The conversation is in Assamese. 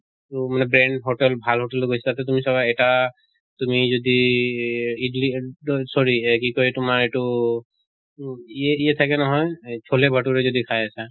তʼ মানে brand hotel ভাল hotel ত গৈছা ত তুমি চাবা এটা তুমি যদি ইদ্লি এদ sorry এহ কি কয় তোমাৰ এইটো তু য়ে য়ে থাকে নহয় এই চলে ভতুৰে যদি খাই আছা